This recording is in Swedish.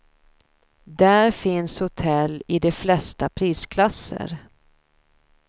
Där finns hotell i de flesta prisklasser.